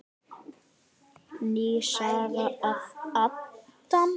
Ný saga af Adam.